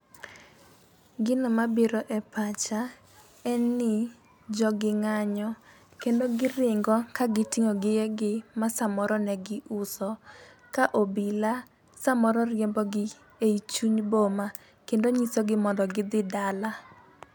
Gino mabiro e pacha en ni jogi ng'anyo kendo giringo kagi ting'o gigegi ma samoro ne giuso ka obila samoro riembo gi e chuny boma kendo nyiso gi mondo gidhi dala.